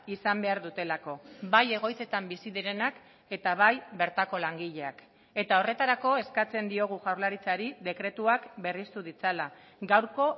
izan behar dutelako bai egoitzetan bizi direnak eta bai bertako langileak eta horretarako eskatzen diogu jaurlaritzari dekretuak berriztu ditzala gaurko